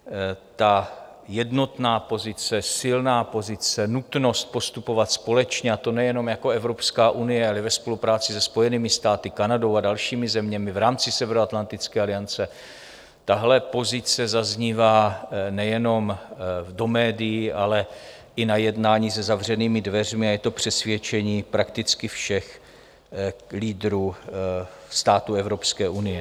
Ta jednotná pozice, silná pozice, nutnost postupovat společně, a to nejenom jako Evropská unie, ale i ve spolupráci se Spojenými státy, Kanadou a dalšími zeměmi v rámci Severoatlantické aliance, tahle pozice zaznívá nejenom do médií, ale i na jednání za zavřenými dveřmi a je to přesvědčení prakticky všech lídrů států Evropské unie.